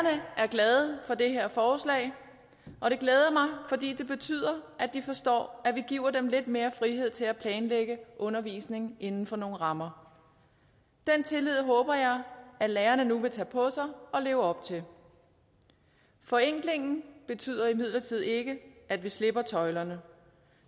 glade for det her forslag og det glæder mig fordi det betyder at de forstår at vi giver dem lidt mere frihed til at planlægge undervisningen inden for nogle rammer den tillid håber jeg at lærerne nu vil tage på sig og leve op til forenklingen betyder imidlertid ikke at vi slipper tøjlerne